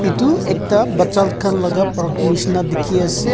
etu ekta bacha khan laga park nishi na dikhi ase.